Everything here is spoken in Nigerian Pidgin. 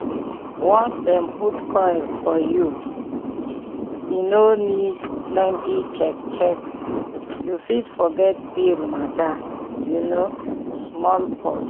once dem put coil for u e no need plenty check-check you fit forget pill matter you know small pause.